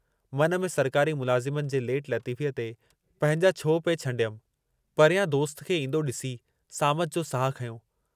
मन में सरकारी मुलाज़िमनि जे लेट लतीफ़ीअ ते पंहिंजा छोह पिए छंॾियम, परियां दोस्त खे ईंदो ॾिसी सामत जो साहु खंयो।